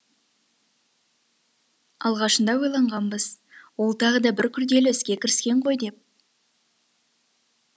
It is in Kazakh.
алғашында ойланғанбыз ол тағы да бір күрделі іске кіріскен ғой деп